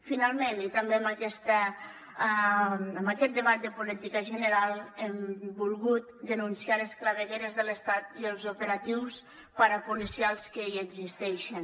finalment i també en aquest debat de política general hem volgut denunciar les clavegueres de l’estat i els operatius parapolicials que hi existeixen